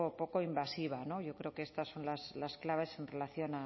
poco invasiva yo creo que estas son las claves en relación